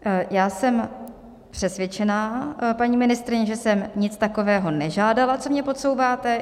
Já jsem přesvědčena, paní ministryně, že jsem nic takového nežádala, co mi podsouváte.